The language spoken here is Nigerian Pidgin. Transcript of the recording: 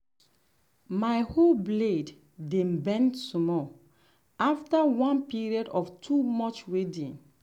my hoe blade um dey bend small after one period of too much weeding.